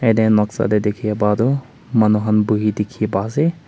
dae noksa dae dekhey pa tuh manu khan buhey dekhi pa ase.